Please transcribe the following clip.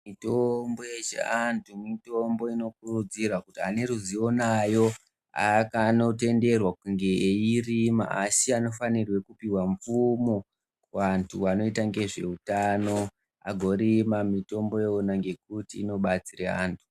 Mitombo yechianti mitombo inokurudzirwa kuti ane ruzivo nayo anotenderwa kunge eirima asi anofanirwa kupihwa mvumo kuantu anoita ngezveutano agorima mitombo iyona ngekuti inobatsire anhu.